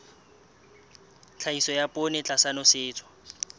tlhahiso ya poone tlasa nosetso